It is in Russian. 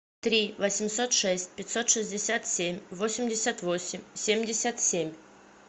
три восемьсот шесть пятьсот шестьдесят семь восемьдесят восемь семьдесят семь